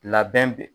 Labɛn